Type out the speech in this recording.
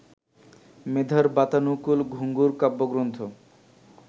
মেধার বাতানুকুল ঘুঙুর কাব্যগ্রন্থ